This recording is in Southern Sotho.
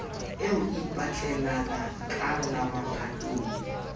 eo e ipatlelalenaka la mophatong